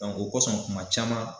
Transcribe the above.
o kosɔn kuma caman .